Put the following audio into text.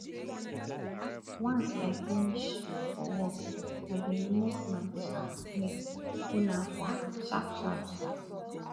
once i finish for work i dey remove my um tie hold am for hand sharpsharp um